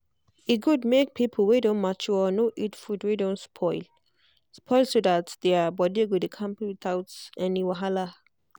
e good make people wey don mature no eat food wey don spoil spoil so that their body go dey kampe without any wahala.